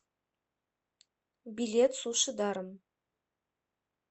билет суши даром